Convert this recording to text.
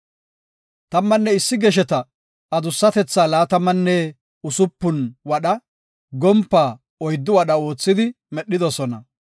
Tammanne issi gesheta adussatethaa laatamanne usupun wadha, gompaa oyddu wadha oothidi medhidosona.